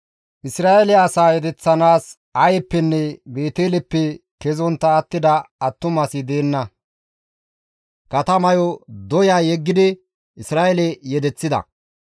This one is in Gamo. Isra7eele asaa yedeththanaas Ayeppenne Beeteleppe kezontta attida attumasi deenna; katamayo doya yeggidi Isra7eele yedeththida.